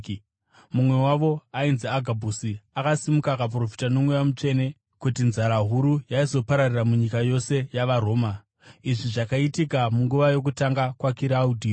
Mumwe wavo, ainzi Agabhusi, akasimuka akaprofita noMweya Mutsvene kuti nzara huru yaizopararira munyika yose yavaRoma. (Izvi zvakaitika munguva yokutonga kwaKiraudhio).